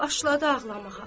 Başladı ağlamağa.